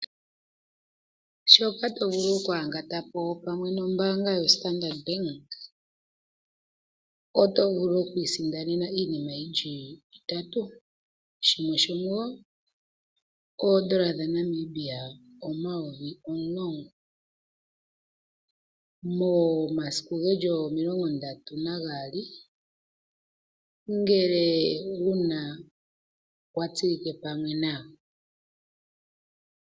Shoka tovulu okwangatapo pamwe nombanga yo Standard Bank , oto vulu okwi sindanena iinima yili itatu shimwe shomuwo, oondola dhaNamibia omayovi omulongo momasiku ngeli 32 ngele wuna watsilike pamwe nayo.